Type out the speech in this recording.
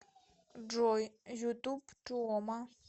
джой ютуб туома